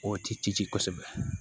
O ti ci kosɛbɛ